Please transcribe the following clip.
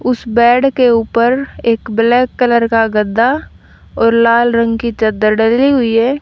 उस बेड के ऊपर एक ब्लैक कलर का गद्दा और लाल रंग की चद्दर डली हुई है।